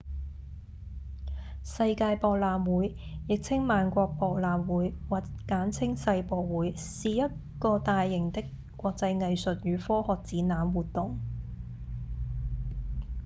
世界博覽會亦稱萬國博覽會或簡稱世博會是一個大型的國際藝術與科學展覽活動